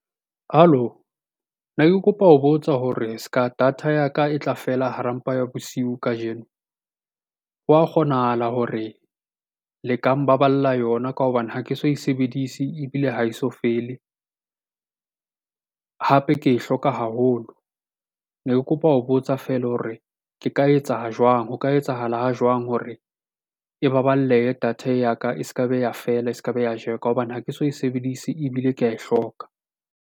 Hallo? Ne ke kopa ho botsa hore se ka data ya ka e tla fela hara mpa ya bosiu kajeno, hwa kgonahala hore le ka mbaballa yona ka hobane ha ke so e sebedise ebile ha e so fele? Hape ke e hloka haholo, ne ke kopa ho botsa feela hore ke ka etsa ha jwang? Ho ka etsahala ha jwang hore e baballehe data ya ka. E se ke be ya fela, e se ke be ya ka hobane ha ke so e sebedise ebile ke ae hloka.